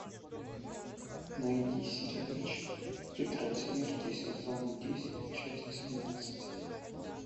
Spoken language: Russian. найди сериальчик тетрадь смерти сезон десять часть семнадцать